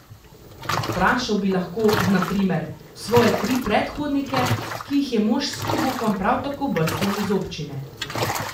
Vprašal bi lahko, na primer, svoje tri predhodnike, ki jih je mož s klobukom prav tako brcnil iz občine.